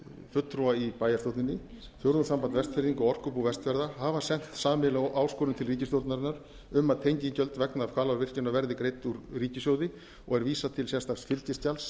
fulltrúa í bæjarstjórninni fjórðungssamband vestfirðinga og orkubú vestfjarða hafa sent sameiginlega áskorun til ríkisstjórnarinnar um að tengigjöld vegna hvalárvirkjunar verði greidd úr ríkissjóði og er vísað til sérstaks fylgiskjals